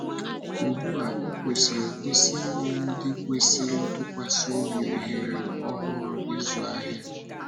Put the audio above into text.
Ugbu a, ọ kwesịrị ekwesị inye ndị kwesịrị ntụkwasị obi ohere ọhụrụ ịzụ ahịa.